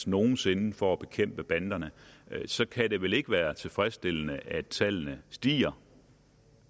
nogen sinde for at bekæmpe banderne så kan det vel ikke være tilfredsstillende at tallene stiger